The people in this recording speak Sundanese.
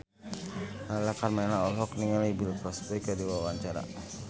Lala Karmela olohok ningali Bill Cosby keur diwawancara